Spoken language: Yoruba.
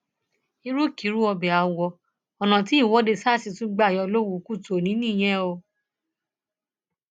ìrúkìrú ọbẹ awọ ọnà tí ìwọde sars tún gbà yọ lówù kùtù ọnì nìyẹn o